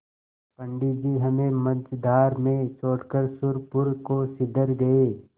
पंडित जी हमें मँझधार में छोड़कर सुरपुर को सिधर गये